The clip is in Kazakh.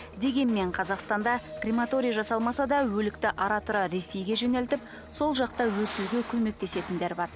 дегенмен қазақстанда крематорий жасалмаса да өлікті ара тұра ресейге жөнелтіп сол жақта өртеуге көмектесетіндер бар